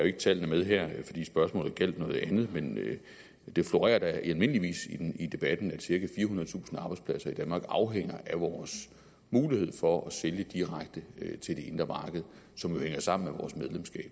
ikke tallene med her fordi spørgsmålet gjaldt noget andet men det florerer almindeligvis i debatten at cirka firehundredetusind arbejdspladser i danmark afhænger af vores mulighed for at sælge direkte til det indre marked som jo hænger sammen